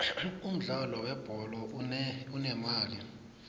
umudlalo we bholo unemali